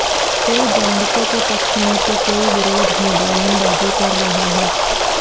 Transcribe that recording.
कोई गोंडसे के पक्ष में तो कोई विरोध में बयान बाजी कर रहा हैं